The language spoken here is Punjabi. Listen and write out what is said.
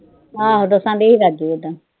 ਹਾਂ, ਦੱਸਣ ਦਈ ਰਾਜੂ ਏਦਾਂ।